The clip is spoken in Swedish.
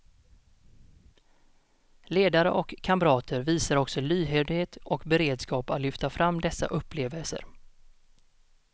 Ledare och kamrater visar också lyhördhet och beredskap att lyfta fram dessa upplevelser.